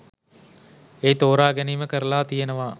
ඒ තෝරා ගැනීම කරලා තියෙනවා.